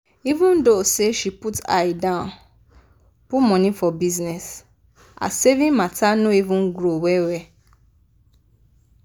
even tho say she put eye dan put money for bizness her savings matter no even grow well-well.